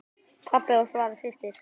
Pabbi og Svala systir.